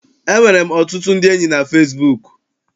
Enwere m ọtụtụ ndị enyi na fesibuuku.